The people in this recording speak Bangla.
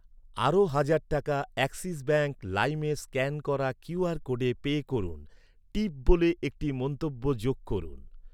আরও হাজার টাকা অ্যাক্সিস ব্যাঙ্ক লাইমে স্ক্যান করা কিউ আর কোডে পে করুন, "টিপ" বলে একটি মন্তব্য যোগ করুন।